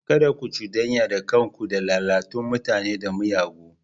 Kada ku cudanya kanku da lalatattun mutane da miyagu.